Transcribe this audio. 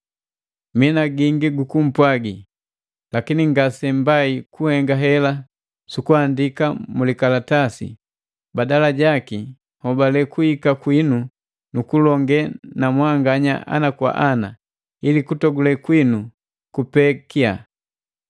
Mii na gingi gukumpwagi, lakini ngasembai kuhenga hela su kuandika mu likalatasi; badala jaki, nhobale kuhika kwinu nu kulonge na mwanganya ana kwa ana, ili kutogule kwitu kupeekia.